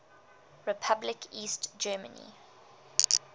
republic east germany